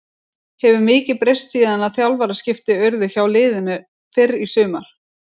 Hefur mikið breyst síðan að þjálfaraskipti urðu hjá liðinu fyrr í sumar?